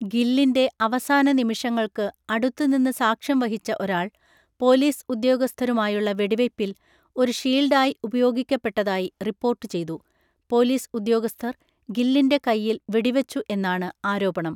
ഗില്ലിൻ്റെ അവസാന നിമിഷങ്ങൾക്ക്, അടുത്തുനിന്ന് സാക്ഷ്യം വഹിച്ച ഒരാൾ, പോലീസ് ഉദ്യോഗസ്ഥരുമായുള്ള വെടിവയ്പിൽ, ഒരു ഷീൽഡായി ഉപയോഗിക്കപ്പെട്ടതായി റിപ്പോർട്ടുചെയ്‌തു. പോലീസ് ഉദ്യോഗസ്ഥർ ഗില്ലിൻ്റെ കൈയിൽ വെടിവെച്ചു എന്നാണ് ആരോപണം.